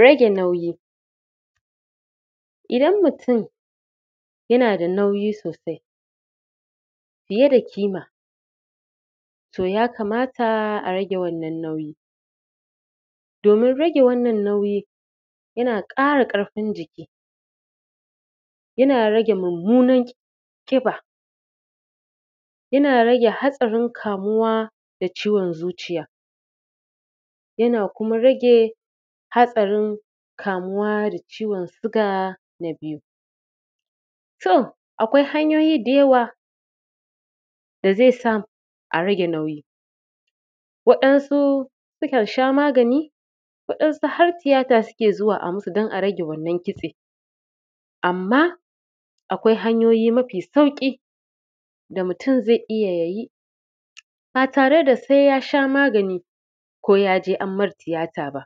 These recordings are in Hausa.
Rage nauyi idan mutum yana da nauyin sosai fiye da ƙima to ya kamata a rage wannan nauyi domin rage wannan nauyi yana ƙara ƙarfin jiki, yana rage mumunar ƙiba, yana rage hatsarin kamuwa da ciwon zuciya, yana kuma rage hatsarin kamuwa da ciwon sugar. Na biyu to akwai hanyoyi da yawa da zai sa a rage nauyi waɗansu sukan sha magani, waɗansu har tiyata suke zuwa a musu dan a rage wannan ƙitse, amma akwai hanyoyin mafi sauƙi da mutum zai iya yi ba tare da se ya sha magani ko ya je an mai tiyata ba,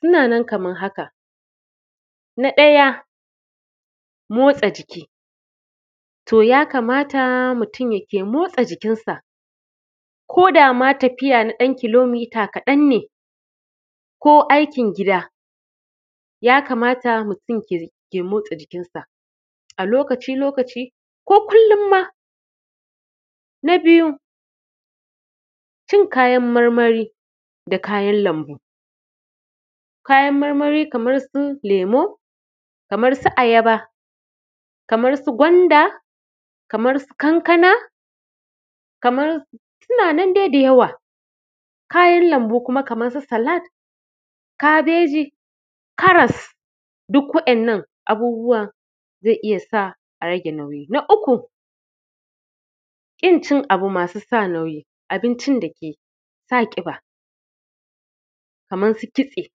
suna nan kaman haka: na ɗaya motsa jiki to ya kamata mutum yake motsa jikinsa ko dama tafiya, na ɗan kilomita kaɗan ne ko aikin gida ya kamata mutum ya riƙa motsa jikin sa, a lokaci-lokaci ko kullum ma na biyu cin kayan marmari da kayan lambu, kayan marmari kaman su lemu, kamar ayaba, kamar su gwanda, kamar su kankana, kamar su suna nan dai da yawa, kayan lambu kuma kamar su salad, kabeji, karas duk wa’yannan abubuwa zai iya sa a rage nauyi. Na uku ƙin cin abu masu sa nauyi, abincin dake sa ƙiba kamar su kitse,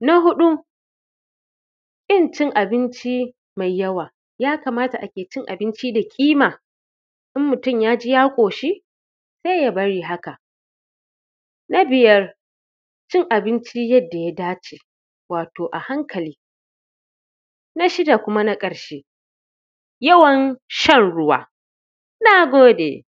na huɗu ƙin cin abinci mai yawa, ya kamata ake cin abinci da kima in mutum ya ji ya ƙoshi sai ya bari haka, na biyar cin abinci yadda ya dace wato a hankali, na shida kuma na ƙarshe yawan shan ruwa. Na gode.